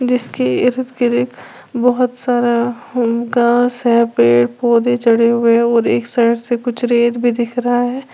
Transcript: जिसकी बहुत सारा होम का सारे पेड़ पौधे चढ़े हुए हैं और एक साइड से कुछ रेत भी दिख रहा है।